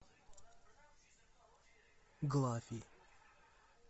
глафи